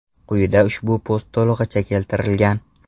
Quyida ushbu post to‘lig‘icha keltirilgan.